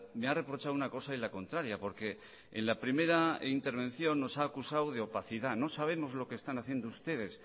me ha reprochado una cosa y la contraria porque en la primera intervención nos ha acusado de opacidad no sabemos lo que están haciendo ustedes